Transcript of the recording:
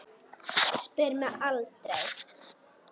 Spyr mig aldrei.